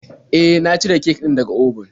E, na cire kek din da ga obun.